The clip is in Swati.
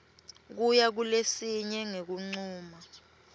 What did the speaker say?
kuya kulesinye ngekuncuma